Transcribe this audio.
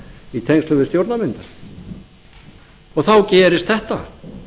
í tengslum við stjórnarmyndun þá gerist þetta